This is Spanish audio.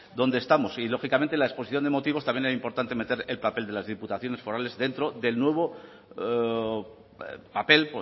dónde estamos y lógicamente en la exposición de motivos también era importante meter el papel de las diputaciones forales dentro del nuevo papel